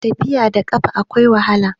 tafiya da kafa akwai wahala